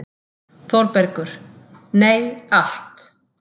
ÞÓRBERGUR: Nei, allt.